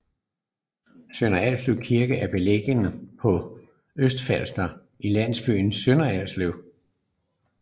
Sønder Alslev Kirke er beliggende på Østfalster i landsbyen Sønder Alslev